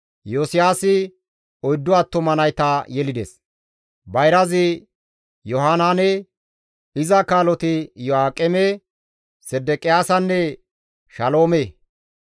Iyosiyaasi oyddu attuma nayta yelides; bayrazi Yohanaane, iza kaaloti Iyo7aaqeme, Sedeqiyaasanne Shaloome;